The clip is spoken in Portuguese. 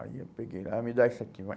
Aí eu peguei, ah, me dá isso aqui, vai.